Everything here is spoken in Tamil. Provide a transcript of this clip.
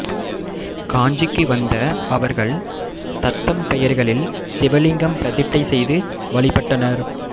காஞ்சிக்கு வந்த அவர்கள் தத்தம் பெயர்களில் சிவலிங்கம் பிரதிட்டை செய்து வழிபட்டனர்